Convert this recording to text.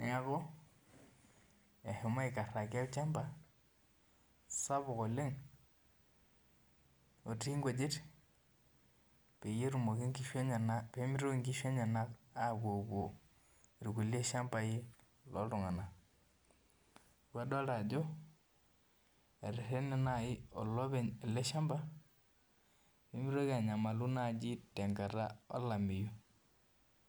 neeku eshomo aikaraki olchamba sapuk oleng otii inkujit peetumoki inkishu enyanak peemitoki inkishu enyanak apuopuo irkulie shamba loontung'anak adolita ajo etererene naaji olopeny ele shamba nemeitoki anyamal tenkata olameyu